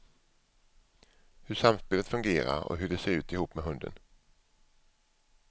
Hur samspelet fungerar och hur de ser ut ihop med hunden.